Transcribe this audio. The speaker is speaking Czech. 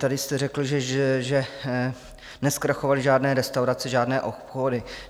Tady jste řekl, že nezkrachovaly žádné restaurace, žádné obchody.